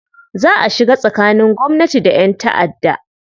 Za a shiga tsakanin gwamnati da 'yan ta'adda